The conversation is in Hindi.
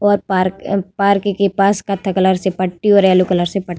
और पार्क ए पार्क के पास कत्थे कलर से पट्टी और येल्लो कलर से प --